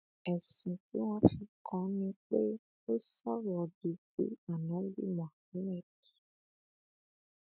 ẹsùn tí wọn fi kàn án ni pé ó sọrọ òdì sí ánábì muhammed